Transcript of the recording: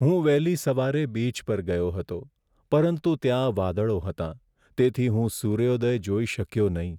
હું વહેલી સવારે બીચ પર ગયો હતો, પરંતુ ત્યાં વાદળો હતાં, તેથી હું સૂર્યોદય જોઈ શક્યો નહીં.